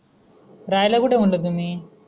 राहायला कुठं आहे म्हणलं तुम्ही?